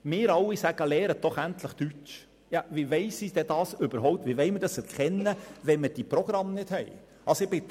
Wir alle sagen: «Lernt endlich Deutsch!» Wie wollen wir dies erkennen, wenn uns die entsprechenden Programme nicht zur Verfügung stehen?